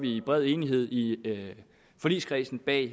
i bred enighed i forligskredsen bag